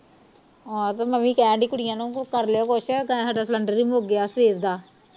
ਆਹ ਤੇ ਮੈਂ ਵੀ ਕਹਿਣ ਦਈ ਕੁੜੀਆਂ ਨੂੰ ਕੁਖ ਕਰ ਲਿਓ ਕੁਛ ਤੈ ਹਾਡਾ ਸਿਲੰਡਰ ਵੀ ਮੁਕ ਗਿਆ ਸਵੇਰ ਦਾ